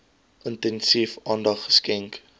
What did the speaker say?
intensief aandag geskenk